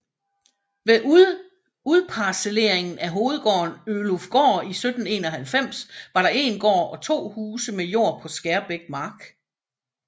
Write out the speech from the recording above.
Ved udparcelleringen af hovedgården Ølufgård i 1791 var der 1 gård og 2 huse med jord på Skærbæk mark